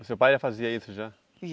O seu pai já fazia isso já?